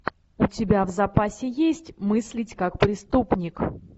у тебя в запасе есть мыслить как преступник